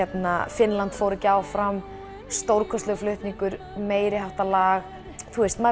Finnland fór ekki áfram stórkostlegur flutningur meiriháttar lag maður